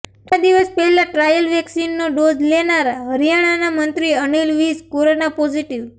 થોડા દિવસ પહેલા ટ્રાયલ વેક્સિનનો ડોઝ લેનારા હરિયાણાના મંત્રી અનિલ વિજ કોરોના પોઝિટિવ